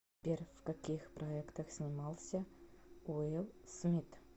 сбер в каких проектах снимался уилл смит